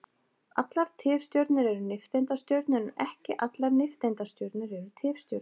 Allar tifstjörnur eru nifteindastjörnur en ekki allar nifteindastjörnur eru tifstjörnur.